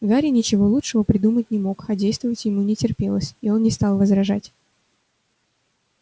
гарри ничего лучшего придумать не мог а действовать ему не терпелось и он не стал возражать